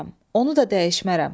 Onu da dəyişmərəm.